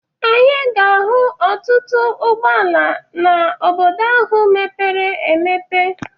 Anyị ga-ahụ ọtụtụ ụgbọala na Obodo ahụ mepere emepe.